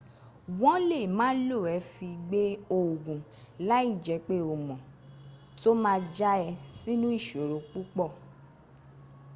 won le ma lo e fi gbe oogun lai je pe o mo to ma ja e sinu isoro pupo